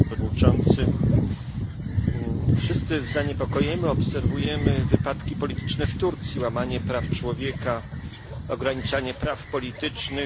Panie Przewodniczący! Wszyscy z zaniepokojeniem obserwujemy wydarzenia polityczne w Turcji łamanie praw człowieka, ograniczanie praw politycznych.